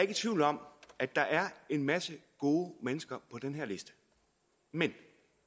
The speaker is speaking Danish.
i tvivl om at der er en masse gode mennesker på den her liste men